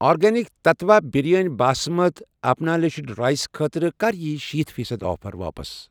Organic Tattva biryani basmati unpolished rice خٲطرٕ کَر یِیہِ شیٖتھ فیٖصد آفر واپس؟